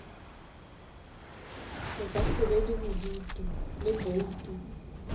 ka se be le boutu